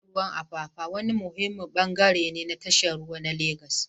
Tashar ruwan Apapa wani muhimmin bangare ne na tashar jirgin ruwa ta Legas.